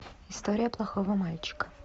история плохого мальчика